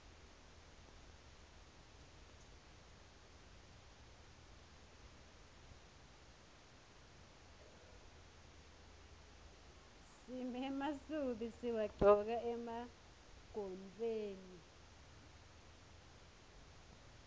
simemasubi siwagcoka emagontfweni